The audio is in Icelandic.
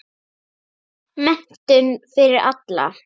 Menntun fyrir alla.